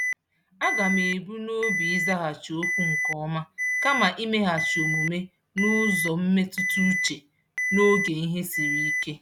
Aga m ebu n'obi ịzaghachi okwu nke ọma kama imeghachi omume n'ụzọ mmetụtauche n'oge ihe siri ike.